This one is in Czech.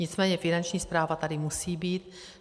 Nicméně Finanční správa tady musí být.